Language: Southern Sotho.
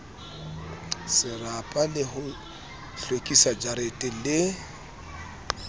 serapa le ho hlwekisajarete le